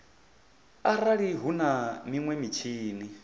arali hu na minwe mitshini